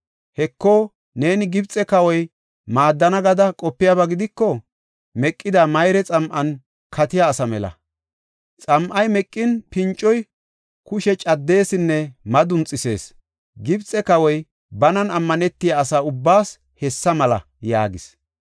Heko, neeni Gibxe kawoy maaddana gada qopiyaba gidiko, meqida mayre xam7an katiya asa mela. Xam7ay meqin, pincoy kushe caddesinne madunxisees. Gibxe kawoy banan ammanetiya asa ubbaas hessa mela’ ” yaagis.